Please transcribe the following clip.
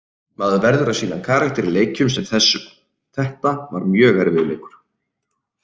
Maður verður að sýna karakter í leikjum sem þessum, þetta var mjög erfiður leikur.